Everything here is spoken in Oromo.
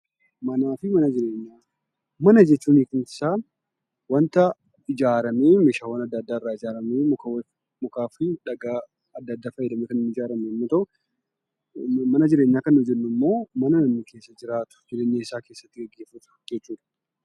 Manaa fi Mana Jireenyaa Mana jechuun hiikumti isaa wanta ijaaramee oomishaawwan adda addaa irraa ijaaramee ,mukaa fi dhagaa adda addaa fayyadamuudhaan ijaarame yommuu ta'u, mana jireenyaa kan nu jennu immoo mana namni keessa jiraatu; jireenya isaa keessatti geggeeffatu akka jechuu ti.